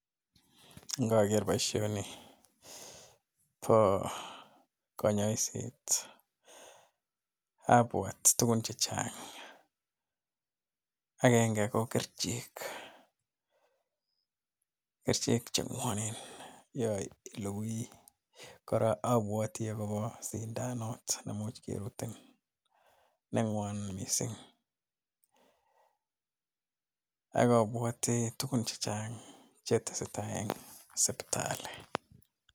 Ngaker boishoni bo konyaiset abwat tukun chechang'. Agenge ko kerichek, kerichek che mwonen yo iluguii kora abwati akobo sindanut nemuch kerutin nengwon missing. Ak abwati tugun chechang che tesetai eng sipitali.